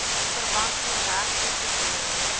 verband met regtetoekenning